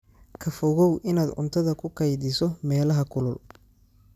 Ka fogow inaad cuntada ku kaydiso meelaha kulul.